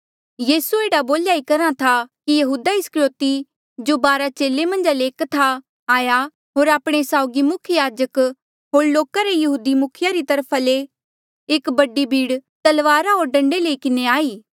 यीसू एह्ड़ा बोल्या ई करहा था कि यहूदा इस्करयोति जो बारा चेले मन्झा ले एक था आया होर आपणे साउगी मुख्य याजक होर लोका रे यहूदी मुखिये री तरफा ले एक बडी भीड़ तलवारा होर डंडे लई किन्हें आई